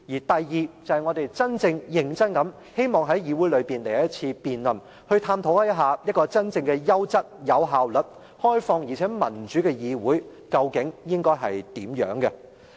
其二，我們認真地希望在議會來一次辯論，探討一個真正優質、有效率、開放而民主的議會，究竟應該是怎樣。